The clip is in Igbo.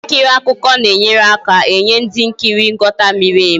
Ihe nkiri akụkọ na enyere aka enye ndị nkiri nghọta miri emi